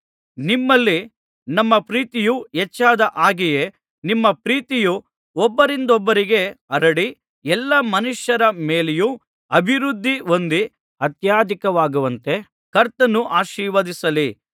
ನಿಮ್ಮಲ್ಲಿ ನಮ್ಮ ಪ್ರೀತಿಯು ಹೆಚ್ಚಾದ ಹಾಗೆಯೇ ನಿಮ್ಮ ಪ್ರೀತಿಯು ಒಬ್ಬರಿಂದೊಬ್ಬರಿಗೆ ಹರಡಿ ಎಲ್ಲಾ ಮನುಷ್ಯರ ಮೇಲೆಯೂ ಅಭಿವೃದ್ಧಿ ಹೊಂದಿ ಅತ್ಯಧಿಕವಾಗುವಂತೆ ಕರ್ತನು ಆಶೀರ್ವದಿಸಲಿ